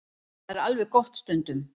Það er alveg gott stundum.